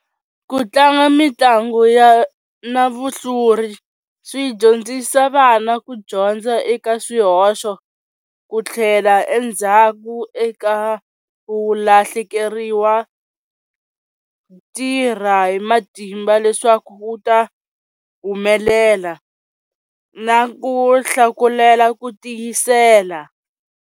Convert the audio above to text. Ku tlanga mitlangu ya na vuhluri swi dyondzisa vana ku dyondza eka swihoxo ku tlhela endzhaku eka ku, lahlekeriwa tirha hi matimba leswaku wu ta humelela na ku hlakulela ku tiyisela.